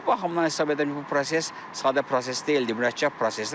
Bu baxımdan hesab edirəm ki, bu proses sadə proses deyildi, mürəkkəb prosesdir.